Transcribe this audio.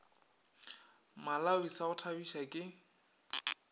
malawi sa go thabiša ke